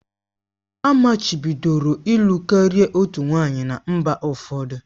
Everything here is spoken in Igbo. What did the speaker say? Amachibidoro ịlụ karịa otu nwanyị na mba ụfọdụ